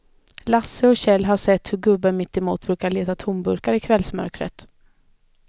Lasse och Kjell har sett hur gubben mittemot brukar leta tomburkar i kvällsmörkret.